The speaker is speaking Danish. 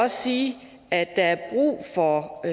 sige at der er brug for